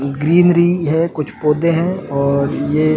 greenery है कुछ पौधे हैं और ये --